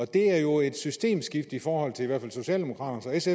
det er jo et systemskifte i forhold til socialdemokraternes